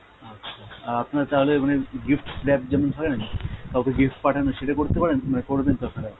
আচ্ছা। আর আপনার তাহলে মানে gift wrap যেমন থাকে না? কাওকে gift পাঠায় না সেটা করতে পারেন? মানে তো আপনারা।